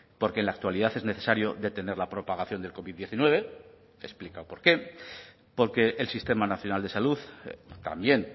porque en la actualidad es necesario detener la propagación del covid diecinueve explica por qué porque el sistema nacional de salud también